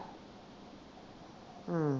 ਹੂੰ